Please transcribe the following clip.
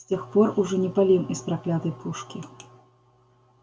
с тех пор уж и не палим из проклятой пушки